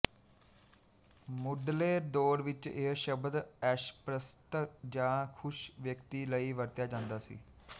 ਮੁੱਢਲੇ ਦੌਰ ਵਿੱਚ ਇਹ ਸ਼ਬਦ ਐਸ਼ਪ੍ਰਸਤ ਜਾਂ ਖੁਸ਼ ਵਿਅਕਤੀ ਲਈ ਵਰਤਿਆ ਜਾਂਦਾ ਸੀ